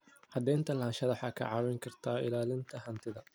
Cadaynta lahaanshaha waxay kaa caawin kartaa ilaalinta hantida.